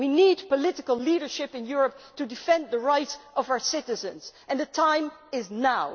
We need political leadership in Europe to defend the rights of our citizens, and the time is now.